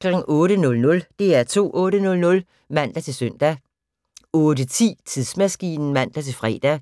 08:00: DR2 8:00 (man-søn) 08:10: Tidsmaskinen (man-fre)